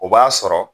O b'a sɔrɔ